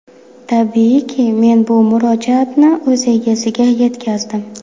Tabiiyki, men bu murojaatni o‘z egasiga yetkazdim.